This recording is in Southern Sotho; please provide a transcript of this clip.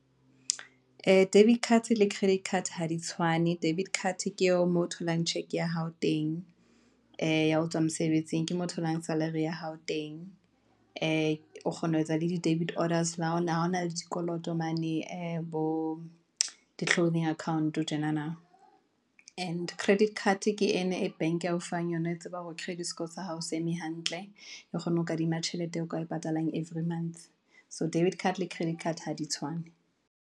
Ee, debit card le credit card ha di tshwane, debit card ke eo moo tholang check ya hao teng, ya ho tswa mosebetsing ke mo tholang salary ya hao teng, ee, o kgona ho etsa le di-debit orders, ha na le dikoloto mane bo account tjenana. And credit card ke ena e bank a o fang yona, e tsebang hore credit score sa hao se eme hantle, e kgone ho kadima tjhelete eo ka e patalang every months. So debit card le credit card ha di tshwane.